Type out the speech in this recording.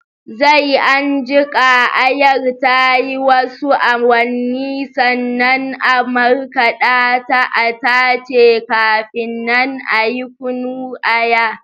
Zai an jiƙa Ayar tayi wasu awannin sannan a markaɗa ta a tace kafi nan ayi kunnun Aya